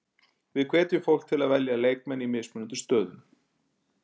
Við hvetjum fólk til að velja leikmenn í mismunandi stöðum.